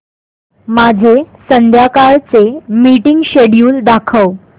माझे संध्याकाळ चे मीटिंग श्येड्यूल दाखव